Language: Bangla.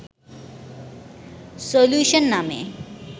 সল্যুশন নামে